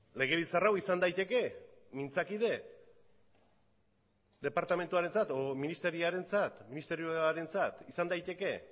legebiltzar hau izan daiteke mintzakide departamentuarentzat edo ministerioarentzat izan daiteke